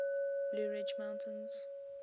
blue ridge mountains